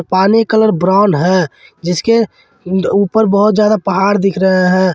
पानी colour brown है जिसके ऊपर बहोत जादा पहाड़ दिख रहे हैं।